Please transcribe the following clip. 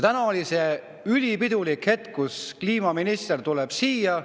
Täna oli see ülipidulik hetk, kui kliimaminister tuli siia.